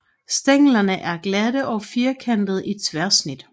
Stænglerne er glatte og firkantede i tværsnit